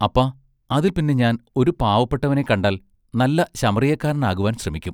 അപ്പാ അതിൽ പിന്നെ ഞാൻ ഒരു പാവപ്പെട്ടവനെ കണ്ടാൽ നല്ല ശമറിയക്കാരനാകുവാൻ ശ്രമിക്കും.